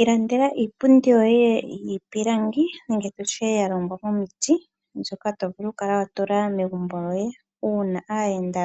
Ilandela iipundi yoye yiipilangi nenge tutye ya longwa momiti ,mbyoka tovulu okukala Watula megumbo lyoye uuna aayenda